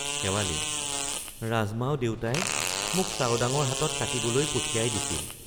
শেৱালি—ৰাজমাও দেউতাই মোক চাওডাঙৰ হাতত কাটিবলৈ পঠিয়াই দিছিল।